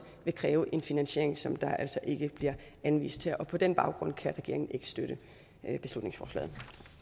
kræve en finansiering som der altså ikke bliver anvist her og på den baggrund kan regeringen ikke støtte beslutningsforslaget